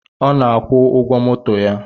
Ọ na-akwụ ụgwọ moto ya